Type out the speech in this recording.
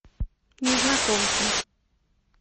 незнакомцы